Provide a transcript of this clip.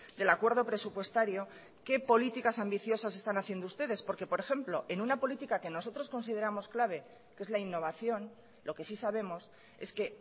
del acuerdo presupuestario qué políticas ambiciosas están haciendo ustedes porque por ejemplo en una política que nosotros consideramos clave que es la innovación lo que sí sabemos es que